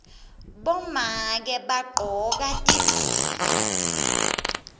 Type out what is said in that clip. bomake bagcoka tidziya